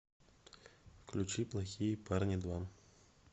включи плохие парни два